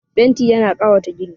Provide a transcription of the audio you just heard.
Fenti yana ƙayata gini